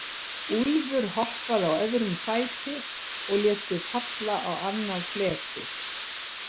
Úlfur hoppaði á öðrum fæti og lét sig falla á annað fletið.